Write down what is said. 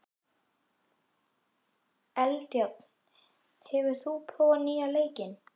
Eldjárn, hefur þú prófað nýja leikinn?